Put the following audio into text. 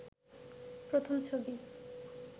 প্রথম ছবি